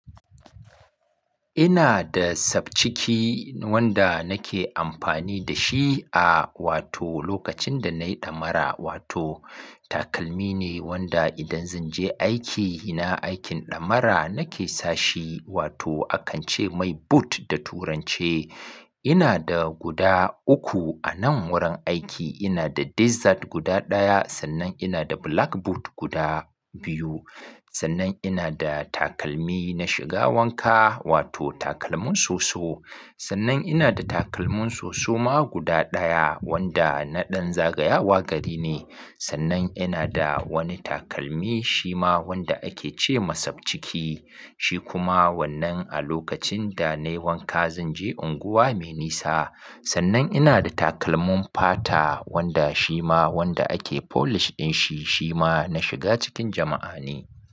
Ina da sabciki wanda nake amfani da shi a wato lokacin da nayi damara wato takalmi ne wanda idan zanje aiki, ina aikin dammara nake sashi wato akance mai boot da turance. Ina da guda uku anan wurin aiki ina da desert guda daya, sannan ina da black boot guda biyu. Sannan ina da takalmi na shiga wanka wato takalmin soso. Sannan ina da takalmin soso ma guda daya wanda na ɗan zagayawa gari ne. Sannan ina da wani takalmi shima wanda ake cema sabciki. Shi kuma wannan a lokacin da nayi wanka zanje unguwa me nisa. Sannan ina da takalmin fata wanda shima wanda ake polish dinshi shima na shiga cikin jama'a ne.